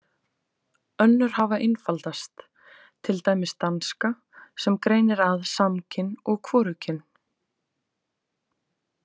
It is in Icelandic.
Önnur hafa einfaldast, til dæmis danska sem greinir að samkyn og hvorugkyn.